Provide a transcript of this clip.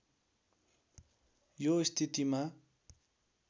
यो स्थितिमा